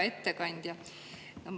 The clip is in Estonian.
Hea ettekandja!